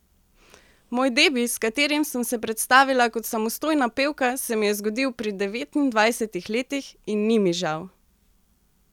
Moj debi, s katerim sem se predstavila kot samostojna pevka, se mi je zgodil pri devetindvajsetih letih, in ni mi žal!